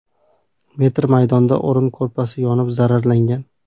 metr maydonda o‘rin-ko‘rpasi yonib zararlangan.